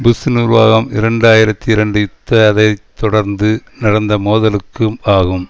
push நிர்வாகம் இரண்டு ஆயிரத்தி இரண்டு யுத்த அதை தொடர்ந்து நடந்த மோதலுக்கும் ஆகும்